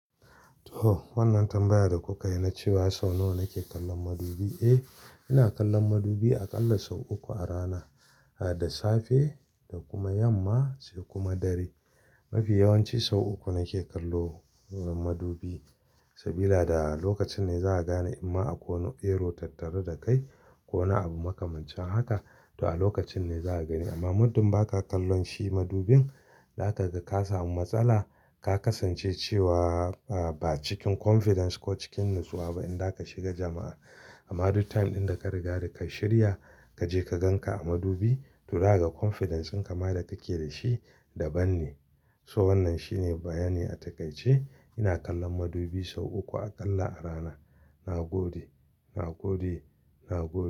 To wannan tambayar da kuka yi na cewa sau nawa nake kallon madubi? Eh, ina kallon madubi aƙalla sau uku a rana, da safe da kuma yamma sai kuma dare. Mafi yawanci sau uku nake kallo madubi, sabida a lokacin ne za'a gane in ma akwai erro tattare da kai ko wani abu maka, mancin haka to a lokacin ne za a gani. Amma muddin ba ka kallon shi madubin, zaka ga ka samu matsala. Ka kasance cewa ba cikin confidence ko cikin natsuwa ba idan za ka shiga jama'a. Amma duk time ɗin da ka riga da ka shirya, ka je ka gan ka a madubi to za kaga confidence din kama da kake da shi daban ne. To wannan shi ne bayani a takaice. Ina kallon madubi sau uku aƙalla a rana. Na gode, na gode, na gode.